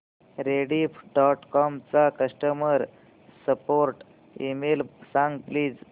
Rediff dot com चा customer support email सांग please